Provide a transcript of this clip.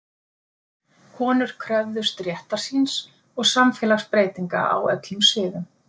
konur kröfðust réttar síns og samfélagsbreytinga á öllum sviðum